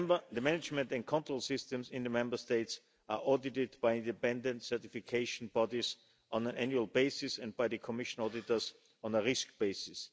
The management and control systems in the Member States are audited by independent certification bodies on an annual basis and by the Commission auditors on a risk basis.